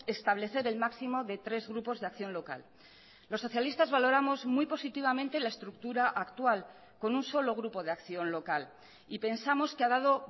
establecer el máximo de tres grupos de acción local los socialistas valoramos muy positivamente la estructura actual con un solo grupo de acción local y pensamos que ha dado